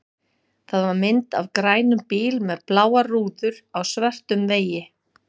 Það var mynd af grænum bíl með bláar rúður á svörtum vegi.